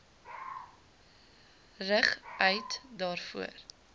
rig eat daarvoor